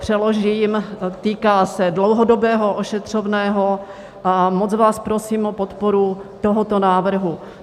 Přeložím: týká se dlouhodobého ošetřovného a moc vás prosím o podporu tohoto návrhu.